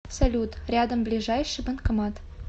салют рядом ближайший банкомат